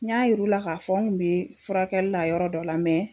N y'a yir'u la ka fɔ n kun bɛ furakɛli la yɔrɔ dɔ la